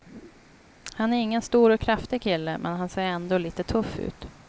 Han är ingen stor och kraftig kille, men han ser ändå lite tuff ut.